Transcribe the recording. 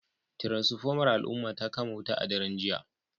Tiranfomar al'umma ta kama wuta a daren jiya